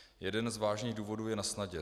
Jeden z vážných důvodů je nasnadě.